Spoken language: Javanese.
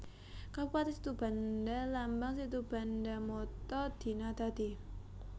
Kabupatèn SitubandaLambang SitubandaMotto Dina Dadi